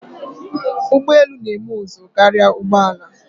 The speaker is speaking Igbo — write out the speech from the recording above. Ugbọelu na-eme ụzụ karia ụgbọala.